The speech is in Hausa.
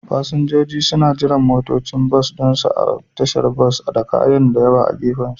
Fasinjoji suna jiran motocin bas ɗinsu a tashar bas, da kayansu na da yawa a gefensu.